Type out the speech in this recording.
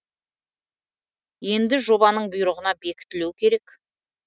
енді жобаның бұйрығына бекітілу керек